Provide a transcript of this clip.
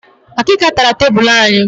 Akịka tara tebulu anyị